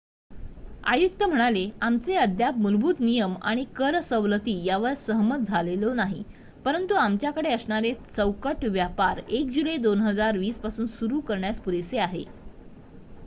आयुक्त म्हणाले आमचे अद्याप मुलभूत नियम आणि कर सवलती यावर सहमत झालेलो नाही परंतु आमच्याकडे असणारे चौकट व्यापार 1 जुलै 2020 पासून सुरु करण्यास पुरेसे आहे